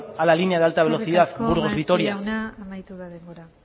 a la línea de alta velocidad burgos vitoria eskerrik asko maeztu jauna amaitu da denbora